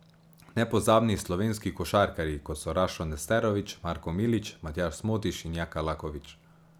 Nepozabni slovenski košarkarji, kot so Rašo Nesterović, Marko Milić, Matjaž Smodiš in Jaka Lakovič.